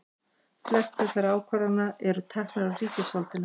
flestar þessara ákvarðana eru teknar af ríkisvaldinu